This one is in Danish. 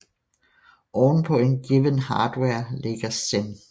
Oven på en given hardware ligger Xen